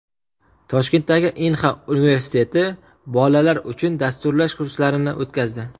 Toshkentdagi Inha universiteti bolalar uchun dasturlash kurslarini o‘tkazdi.